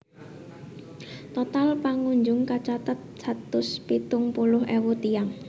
Total pangunjung kacathet satus pitung puluh ewu tiyang